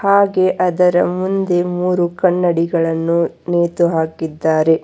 ಹಾಗೆ ಅದರ ಮುಂದು ಮೂರು ಕನ್ನಡಿಗಳನ್ನು ನೇತು ಹಾಕಿದ್ದಾರೆ.